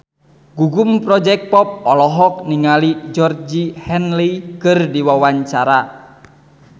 Gugum Project Pop olohok ningali Georgie Henley keur diwawancara